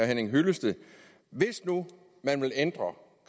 henning hyllested hvis nu man vil ændre